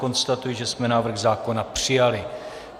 Konstatuji, že jsme návrh zákona přijali.